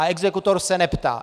A exekutor se neptá.